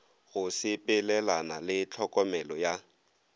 go sepelelana le tlhokomelo ya